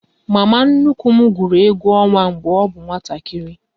Mama nnukwu m gwụrụ egwu ọnwa mgbe ọ bụ nwatakịrị